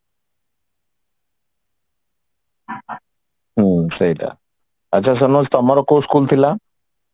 ହୁଁ ସେଇଟା ଆଚ୍ଛା ସୋମେଷ ତମର କୋଉ school ଥିଲା